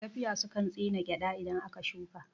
Gafiya sukan tsine gyaɗa idan aka shuka